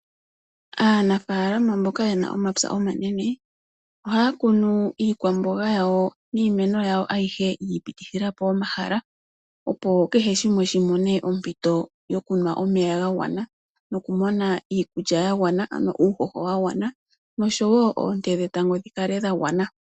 Aanafalama mboka yena omapya omanene, ohaya kunu iikwamboga yawo niimeno yawo ayihe yiipitithila po omahala, opo kehe shimwe shimone ompito yokunwa omeya gagwana nokumona iikulya yagwana ano uuhoho wagwana nosho wo oonte dhetango dhikale dhagwana.